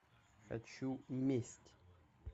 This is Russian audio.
хочу месть